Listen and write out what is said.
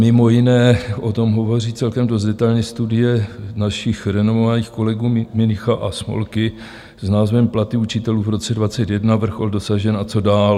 Mimo jiné o tom hovoří celkem dost detailně studie našich renomovaných kolegů Münicha a Smolky s názvem Platy učitelů v roce 2021: vrchol dosažen a co dál?